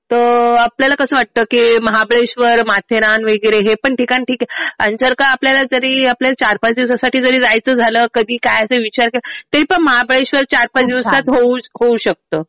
तर आपल्याला कसं वाटतं कि महाबळेश्ववर, माथेरान वगैरे हे पण ठिकाण ठीक आहे आणि जर का आपल्याला जरी आपल्याला चार-पाच दिवसासाठी जायचं झालं कधी काय असं विचार केला तरीपण महाबळेश्ववर चार-पाच दिवसात होऊ शकतं.